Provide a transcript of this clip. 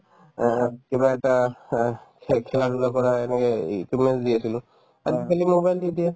অহ্, কিবা এটা অ খে~ খেলা-ধূলা কৰা এনেকে equipment's দি আছিলো আজিকালি mobile দি দিয়ে